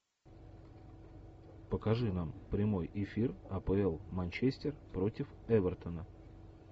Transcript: покажи нам прямой эфир апл манчестер против эвертона